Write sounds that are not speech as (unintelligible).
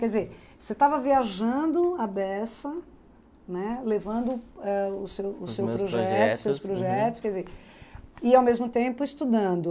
Quer dizer, você estava viajando à beça, né, levando (unintelligible) quer dizer, e ao mesmo tempo estudando.